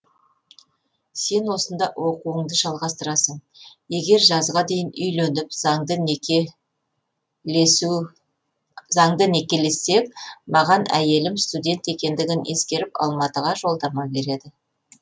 сен осында оқуыңды жалғастырасың егер жазға дейін үйленіп заңды некелессек маған әйелім студент екендігін ескеріп алматыға жолдама береді